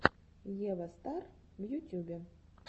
ева стар в ютюбе